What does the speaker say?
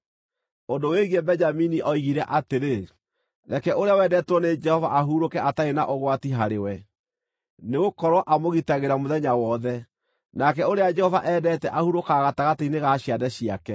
Ũndũ wĩgiĩ Benjamini oigire atĩrĩ: “Reke ũrĩa wendetwo nĩ Jehova ahurũke atarĩ na ũgwati harĩ we, nĩgũkorwo amũgitagĩra mũthenya wothe, nake ũrĩa Jehova endete ahurũkaga gatagatĩ-inĩ ga ciande ciake.”